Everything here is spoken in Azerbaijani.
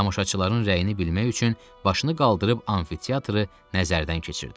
Tamaşaçıların rəyini bilmək üçün başını qaldırıb amfiteatrı nəzərdən keçirdi.